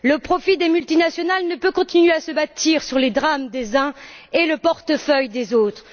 Le profit des multinationales ne peut continuer à se bâtir sur les drames des uns et le portefeuille des autres.